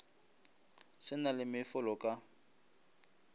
se na le mefolo ka